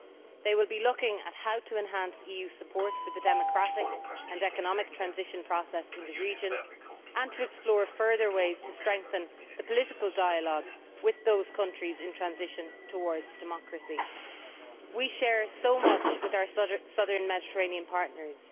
They will be looking at how to enhance EU support for the democratic and economic transition process in the region, and to explore further ways to strengthen the political dialogue with those countries in transition towards democracy. We share so much with our Southern Mediterranean partners.